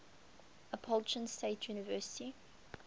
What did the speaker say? appalachian state university